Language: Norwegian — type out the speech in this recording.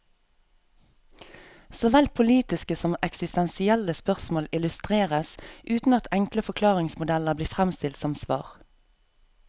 Såvel politiske som eksistensielle spørsmål illustreres, uten at enkle forklaringsmodeller blir fremstilt som svar.